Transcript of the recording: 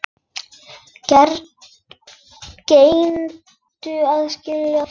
Reyndu að skilja það!